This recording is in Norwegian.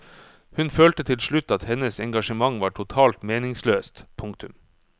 Hun følte til slutt at hennes engasjement var totalt meningsløst. punktum